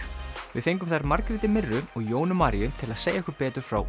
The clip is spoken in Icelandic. við fengum þær Margréti mirru og Jónu Maríu til að segja okkur betur frá